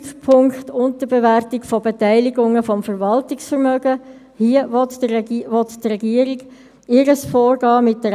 Insbesondere sollen eine Systematisierung und Zentralisierung der Prozesse und eine entsprechende Anpassung der Strukturen vorgenommen werden.